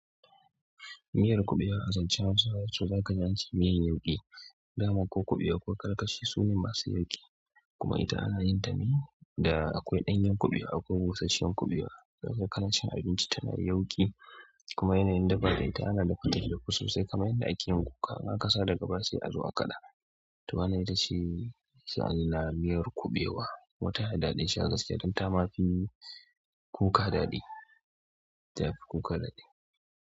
Miyar kuɓewa a zancen Hausawa to daka ji ance miyan yauƙi. Daman ko kuɓewa ko karkashi su ne masu yauƙi. Kuma ita ana yinta ne da akwai ɗanyen kuɓewa, akwai busashshen kuɓewa, daka ga kana cin abinci tana yauƙi, kuma yanayin dafa ta ana dafa ta ta dafu sosai kaman yanda ake yin kuka am. Aka sa daga baya sai a zo a kaɗa. To, wannan ita ce misali na miyar kuɓewa, kuma tana da daɗin sha gaskiya. Dan ta ma fi kuka daɗi, ta fi kuka daɗi.